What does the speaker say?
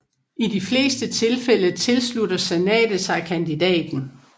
I de fleste tilfælde tilslutter Senatet sig kandidaten